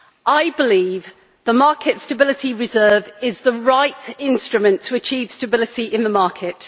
I believe the market stability reserve is the right instrument to achieve stability in the market.